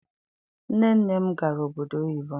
Nne nne m gara obodo oyibo.